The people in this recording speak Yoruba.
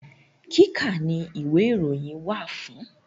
Kíkà ni ìwé ìròyìn wà fún.